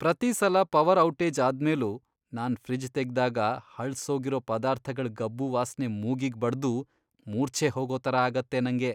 ಪ್ರತೀ ಸಲ power outage ಆದ್ಮೇಲೂ ನಾನ್ ಫ್ರಿಡ್ಜ್ ತೆಗ್ದಾಗ ಹಳ್ಸೋಗಿರೋ ಪದಾರ್ಥಗಳ್ ಗಬ್ಬು ವಾಸ್ನೆ ಮೂಗಿಗ್ ಬಡ್ದು ಮೂರ್ಛೆ ಹೋಗೋ ಥರ ಆಗತ್ತೆ ನಂಗೆ.